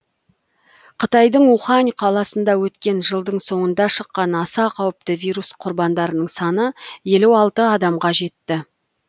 қытайдың ухань қаласында өткен жылдың соңында шыққан аса қауіпті вирус құрбандарының саны елу алты адамға жетті